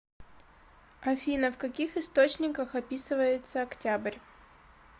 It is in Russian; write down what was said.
афина в каких источниках описывается октябрь